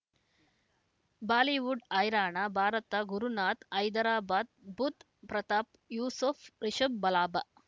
Bollywood ಹೈರಾಣ ಭಾರತ ಗುರುನಾಥ ಹೈದರಾಬಾದ್ ಬುಧ್ ಪ್ರತಾಪ್ ಯೂಸುಫ್ ರಿಷಬ್ ಲಾಭ